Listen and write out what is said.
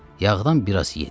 Yağdan biraz yedi.